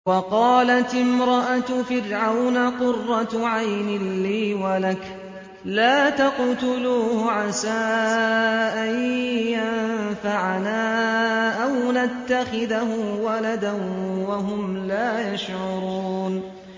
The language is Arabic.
وَقَالَتِ امْرَأَتُ فِرْعَوْنَ قُرَّتُ عَيْنٍ لِّي وَلَكَ ۖ لَا تَقْتُلُوهُ عَسَىٰ أَن يَنفَعَنَا أَوْ نَتَّخِذَهُ وَلَدًا وَهُمْ لَا يَشْعُرُونَ